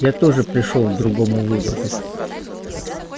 я тоже пришёл к другому выводу